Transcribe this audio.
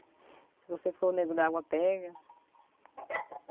Se você for o Nego d'água, pega.